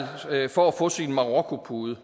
for at få sin marokkopude